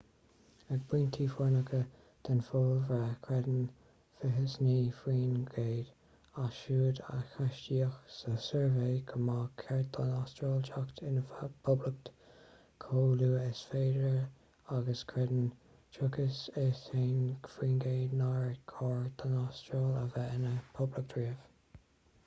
ag pointí foircneacha den phobalbhreith creideann 29 faoin gcéad as siúd a ceistíodh sa suirbhé go mba cheart don astráil teacht ina poblacht chomh luath agus is féidir agus creideann 31 faoin gcéad nár chóir don astráil a bheith ina poblacht riamh